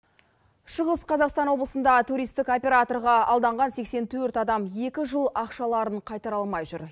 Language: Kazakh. шығыс қазақстан облысында туристік операторға алданған сексен төрт адам екі жыл ақшаларын қайтара алмай жүр